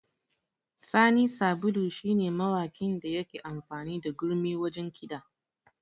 Sani Sabulu shi ne mawakin da yake amfani da gurmi wajen kiɗa